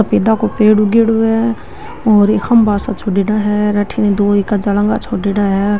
पपीता का पेड़ उगेडा है और एक खम्भा सा छोडेडा है --